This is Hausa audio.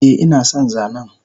Eh inason zanen